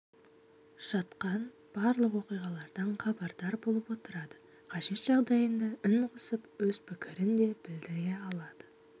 жатқан барлық оқиғалардан хабардар болып отырады қажет жағдайында үн қосып өз пікірін де білдіре алады